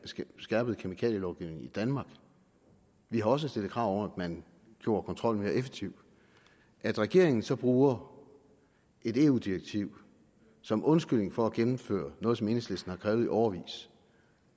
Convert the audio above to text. skærpede kemikalielovgivningen i danmark vi har også stillet krav om at man gjorde kontrollen mere effektiv at regeringen så bruger et eu direktiv som undskyldning for at gennemføre noget som enhedslisten har krævet i årevis